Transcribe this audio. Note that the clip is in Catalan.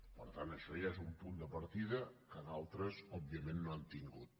per tant això ja és un punt de partida que d’altres òbviament no han tingut